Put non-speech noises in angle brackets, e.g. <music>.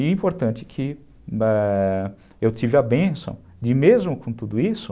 E é importante que <unintelligible> eu tive a bênção e mesmo com tudo isso,